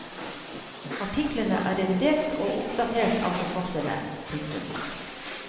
Artiklene er revidert og oppdatert av forfatterne. punktum